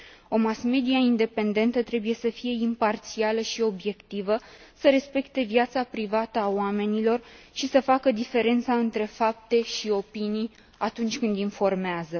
O mass media independentă trebuie să fie imparțială și obiectivă, să respecte viața privată a oamenilor și să facă diferența între fapte și opinii atunci când informează.